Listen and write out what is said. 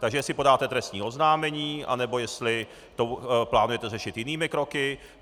Takže jestli podáte trestní oznámení, anebo jestli to plánujete řešit jinými kroky.